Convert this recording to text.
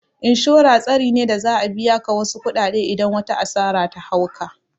Inshora tsari ne da za'a biya ka wasu kuɗaɗe idan wata asara ta hau ka